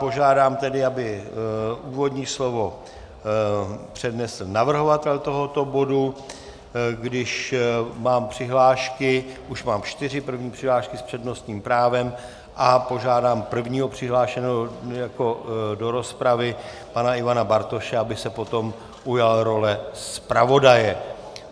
Požádám tedy, aby úvodní slovo přednesl navrhovatel tohoto bodu, když mám přihlášky - už mám čtyři - první přihlášky s přednostním právem a požádám prvního přihlášeného do rozpravy pana Ivana Bartoše, aby se potom ujal role zpravodaje.